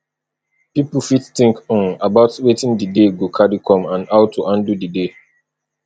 pipo fit think um about wetin di day go carry come and how to handle di day